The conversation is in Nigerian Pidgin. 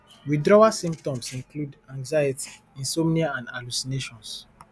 withdrawal symptoms include anxiety insomnia and hallucinations